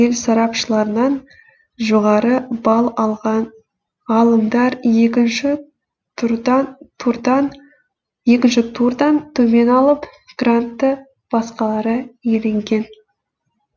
ел сарапшыларынан жоғары балл алған ғалымдар екінші турдан төмен алып грантты басқалары иеленген